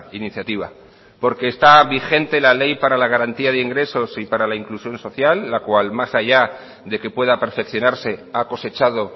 iniciativa porque está vigente la ley para la garantía de ingresos y para la inclusión social la cual más allá de que pueda perfeccionarse ha cosechado